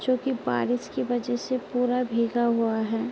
जो की बारिश की वजह से पूरा भींगा हुआ है।